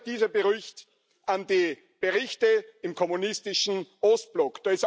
Mich erinnert dieser Bericht an die Berichte im kommunistischen Ostblock.